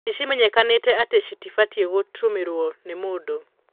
Nĩcimenyekanĩte atĩ citibatiĩ gũtũmĩrwo nĩ mũndũ.